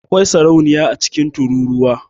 Akwai sarauniya a cikin tururuwa.